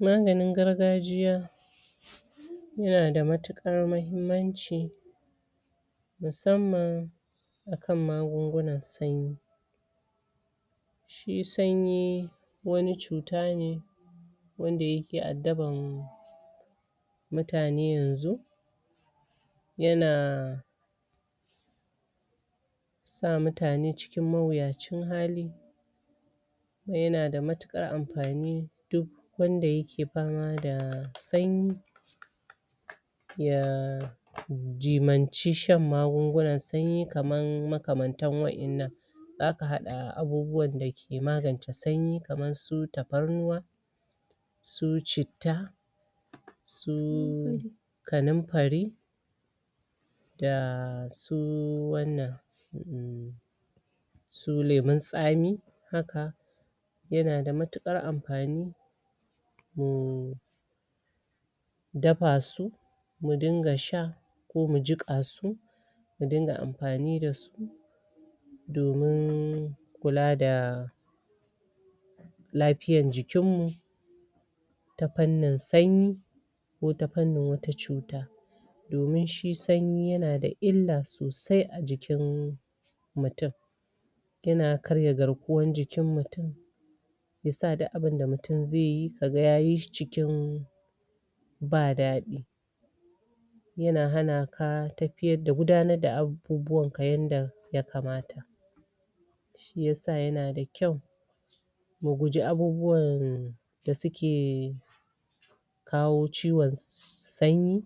Maganin Gargajiya Yana da matukar mahimmanci Musamman Akan magunguna sanyi Shi sanyi Wani cuta ne Wanda yake addabar Mutane yanzu Yana Sa mutane cikin mawuyacin hali Yana da matukar amfani Duk Wanda yake fama da sanyi Ya, Jimanci shan magungunan sanyi kaman makamantan wannnan Zaka hada abubuwan da ke maganta sanyi kamar su taparnuwa Su citta Su....... Karamfani Dasu.... wannan Su lemun tsami Haka Yana da matukar amfani Wurin Dafa su ya dunga sha Ko ya jika su Ya ringa amfani da su Domin Kula da Laiyar jikin mu Ta fannin sanyi Ko ta fannin wata cuta Domin shi sanyi yana da ILLA sosai a cikin.... Mutum Yana karya garkuwar cikin mutum Yasa duk abinda mutum zaiyi kaga yayi shi cikin.. Ba dadi Yana hanaka gudanar da abubuwan ka yadda ya kamata Shi yasa yana da kwau Mu guji abubuwan..... Da suke... kawo ciwon Sanyi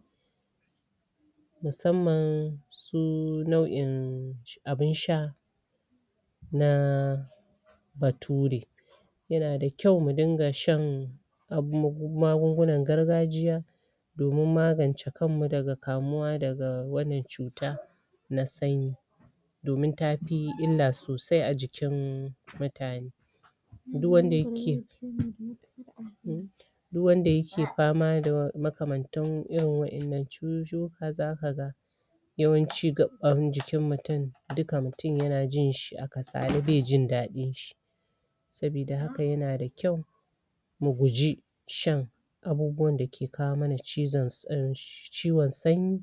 Musamman Su lau'in.. Abin sha Na Bature Yana da kwau mu ringa shan Magungunan gargajiya Domin magance kanmu daga kamuwa daga wannan cuta Na sanyi Domin tafi Illa sosai a jikin, Mutane Duk wanda ke Duk wanda yake fama da makamantan wannan cuttutuka zaka ga Yawanci Gaban jikin mutum Dukka mutum yana jinshi a kasale bai jin dadin jikin shi Sabida haka yana da kwau Mu guji Shan Abubuwan da ke kawo mana ciwon sanyi